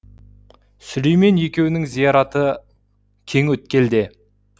сүлеймен екеуінің зираты кеңөткелде